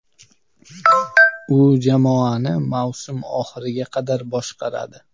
U jamoani mavsum oxiriga qadar boshqaradi.